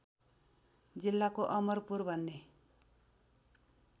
जिल्लाको अमरपुर भन्ने